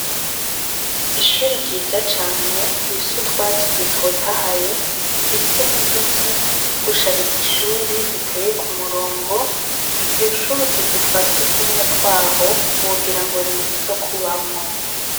Ishuri ryiza cane, rifise utwatsi dutotahaye, rifise n' uduti two gushariza ishuri duteye ku murongo, iryo shuri utuzu twasugumwe twaho ,wogira n' inzu zo kubamwo.